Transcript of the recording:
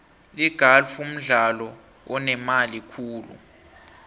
igalfu mdlalo onemali khulu